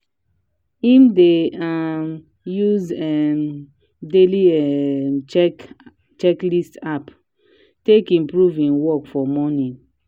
him dey um use um daily um checklist app take improve him work for morning.